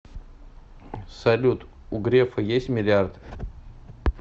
салют у грефа есть миллиард